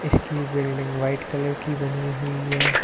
Building white colour की बनी हुई है।